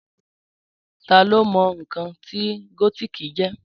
Tá lo mọ̀ nǹkan tí gótìkì jẹ́?